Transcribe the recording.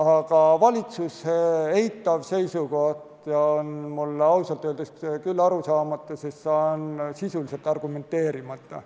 Aga valitsuse eitav seisukoht on mulle ausalt öeldes küll arusaamatu, sest see on sisuliselt argumenteerimata.